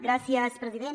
gràcies president